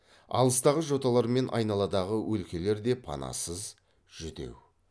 алыстағы жоталар мен айналадағы өлкелер де панасыз жүдеу